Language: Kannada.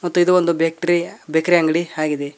ಮತ್ತೆ ಇದು ಒಂದು ಬೇಕ್ರಿ ಬೇಕ್ರಿ ಅಂಗಡಿ ಆಗಿದೆ.